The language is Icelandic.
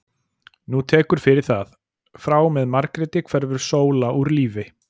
Nú tekur fyrir það, frá og með Margréti hverfur Sóla úr lífi